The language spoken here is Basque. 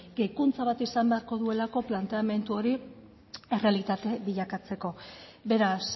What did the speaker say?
gehikuntza bat izan beharko duelako planteamendu hori errealitate bilakatzeko beraz